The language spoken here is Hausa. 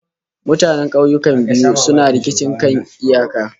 Mutanen kauyukan biyu suna rikicin kan iyaka